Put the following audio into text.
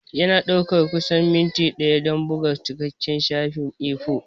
Yana ɗaukar kusan minti ɗaya don buga cikakken shafin A4.